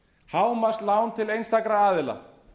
hámarkslán til einstakra aðila